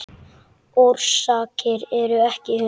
Orsakir eru ekki kunnar.